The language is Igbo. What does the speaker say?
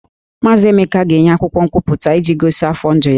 Maazị Emeka ga-enye akwụkwọ nkwupụta iji gosi afọ ndụ ya